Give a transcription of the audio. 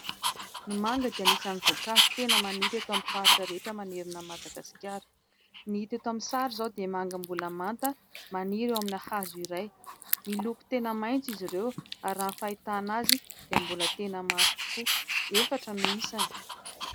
Ny manga dia anisan'ny voankazo tena maniry eto amin'ny faritra rehetra manerana Madagasikara, ny hita eto amin'ny sary izao dia manga mbola manta maniry eo amin'ny hazo iray, miloko tena maitso izy ireo ary raha ny fahitana azy dia mbola tena mafy tokoa, efatra no isany.